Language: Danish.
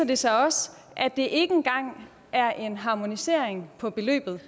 det sig også at det ikke engang er en harmonisering af beløbet